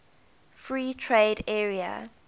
free trade area